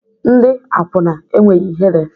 Ndị akwụna enweghị ihere